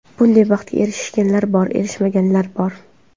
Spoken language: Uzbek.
Bunday baxtga erishganlar bor, erishmaganlar bor.